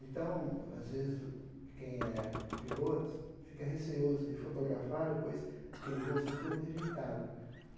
Então, às vezes, o quem é o piloto fica receoso de fotografar depois aquele voo ser todo rejeitado.